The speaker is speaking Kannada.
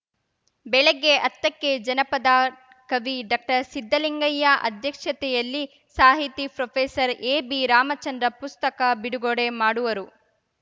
ಬೆಳಿಗ್ಗೆ ಹತ್ತಕ್ಕೆ ಜನಪದ ಕವಿ ಡಾಕ್ಟರ್ಸಿದ್ಧಲಿಂಗಯ್ಯ ಅಧ್ಯಕ್ಷತೆಯಲ್ಲಿ ಸಾಹಿತಿ ಪ್ರೊಫೆಸರ್ಎಬಿರಾಮಚಂದ್ರ ಪುಸ್ತಕ ಬಿಡುಗಡೆ ಮಾಡುವರು